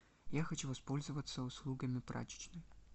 я хочу воспользоваться услугами прачечной